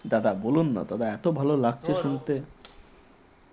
দাদা বলুন না তোমার লাগছে শুনতে